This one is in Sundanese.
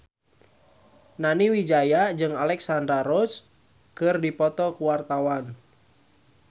Nani Wijaya jeung Alexandra Roach keur dipoto ku wartawan